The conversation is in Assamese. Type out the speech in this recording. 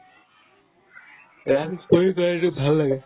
কৰি এইটো ভাল লাগে